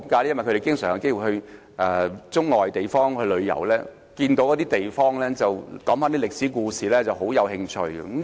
因為他們經常有機會到中外地方旅遊，聽到當地的歷史事蹟時便產生興趣。